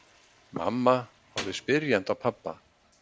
Mamma horfði spyrjandi á pabba.